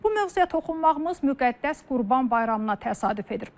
Bu mövzuya toxunmağımız müqəddəs Qurban bayramına təsadüf edir.